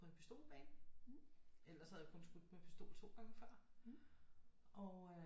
På en pistolbane ellers så havde jeg kun skudt med pistol 2 gange før og øh